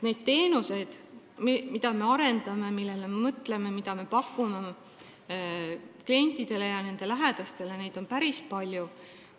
Neid teenuseid, mida me arendame, millele me mõtleme, mida me pakume klientidele ja nende lähedastele, on päris palju.